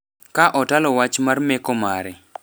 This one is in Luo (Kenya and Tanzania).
ka otalo wach mar meko mare.